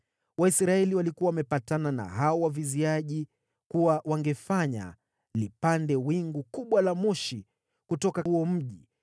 Waisraeli walikuwa wamepatana na hao waviziaji kuwa wangefanya lipande wingu kubwa la moshi kutoka huo mji,